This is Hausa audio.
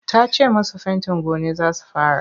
Ta ce masu fentin gone za su fara.